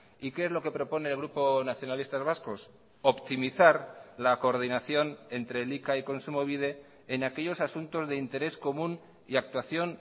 y qué es lo que propone el grupo nacionalistas vascos optimizar la coordinación entre elika y kontsumobide en aquellos asuntos de interés común y actuación